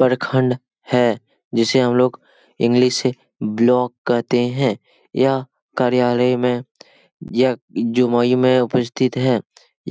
परखंड है जिसे हम लोग इंग्लिश से ब्लॉक कहते है । यह कार्यालय में यह जुमोई में उपस्थित है ।